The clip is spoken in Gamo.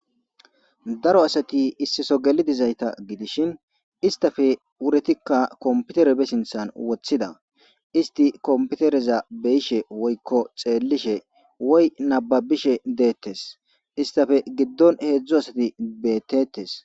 Daro asati issi Soho geli dizayta gidishn istappe wuritika computer be sinthani wothida , isti computerez beyishe woyi xelishe woyko nababishe detesi,istappe giddoni hezdzdu asati betetesi.